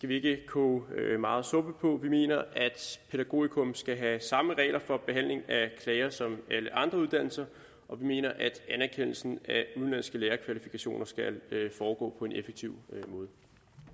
vi ikke koge meget suppe på vi mener at pædagogikum skal have samme regler for behandling af klager som alle andre uddannelser og vi mener at anerkendelsen af udenlandske lærerkvalifikationer skal foregå på en effektiv